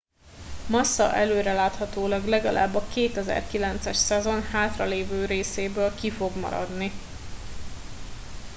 massa előreláthatólag legalább a 2009 es szezon hátralévő részéből ki fog maradni